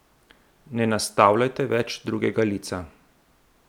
Ne nastavljajte več drugega lica!